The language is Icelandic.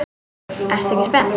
Ertu ekki spennt?